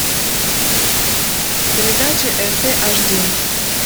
передача рт аш ди